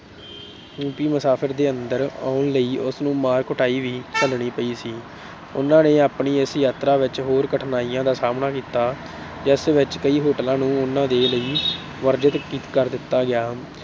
Europe ਮੁਸਾਫਰ ਦੇ ਅੰਦਰ ਆਉਣ ਲਈ ਉਸਨੂੰ ਮਾਰ ਕੁਟਾਈ ਵੀ ਝਲਣੀ ਪਈ ਸੀ। ਉਨ੍ਹਾਂ ਨੇ ਆਪਣੀ ਇਸ ਯਾਤਰਾ ਵਿੱਚ ਹੋਰ ਕਠਿਨਾਈਆਂ ਦਾ ਸਾਹਮਣਾ ਕੀਤਾ ਜਿਸ ਵਿੱਚ ਕਈ hotels ਨੂੰ ਉਨ੍ਹਾਂ ਦੇ ਲਈ ਵਰਜਿਤ ਕਰ ਦਿੱਤਾ ਗਿਆ।